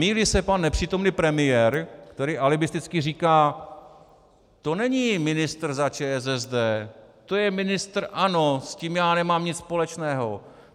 Mýlí se pan nepřítomný premiér, který alibisticky říká: To není ministr za ČSSD, to je ministr ANO, s tím já nemám nic společného.